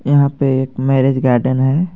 यहां पे एक मैरेज गार्डन है।